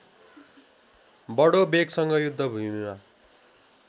बडो वेगसँग युद्धभूमिमा